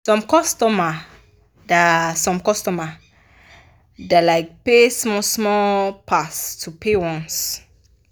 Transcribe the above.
some customer da some customer da like pay small small pass to pay once